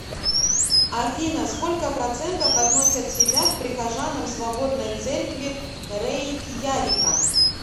афина сколько процентов относят себя к прихожанам свободной церкви рейкьявика